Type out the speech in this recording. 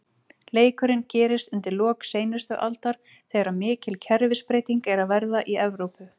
Leikurinn gerist undir lok seinustu aldar, þegar mikil kerfisbreyting er að verða í Evrópu.